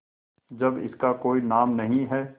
जब इसका कोई नाम नहीं है